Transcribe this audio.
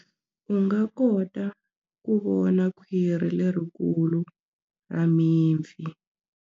U nga kota ku vona khwiri lerikulu ra mipfi.